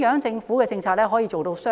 政府的政策如何做到"雙贏"？